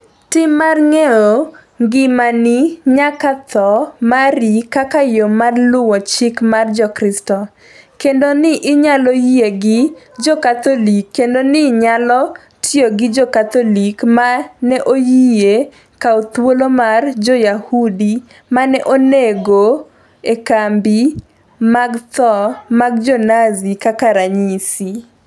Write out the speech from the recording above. Tim mar ng'eyo ngimani nyaka tho mari kaka yo mar luwo chik mar Jokristo, kendo ni inyalo yie gi Jo-Katholik kendo ni nyalo tiyo gi Jo-Katholik ma ne oyie kawo thuolo mar Jo-Yahudi ma ne onego negi e kambi mag tho mag Jo-Nazi, kaka ranyisi